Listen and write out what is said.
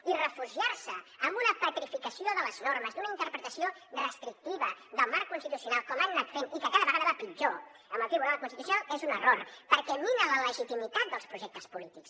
i refugiar se en una petrificació de les normes una interpretació restrictiva del marc constitucional com han anat fent i que cada vegada va a pitjor amb el tribunal constitucional és un error perquè mina la legitimitat dels projectes polítics